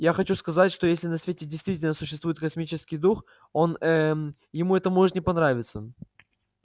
я хочу сказать что если на свете действительно существует космический дух он э-э-э ему это может не понравиться